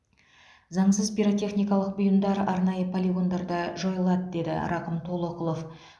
заңсыз пиротехникалық бұйымдар арнайы полигондарда жойылады деді рақым толоқұлов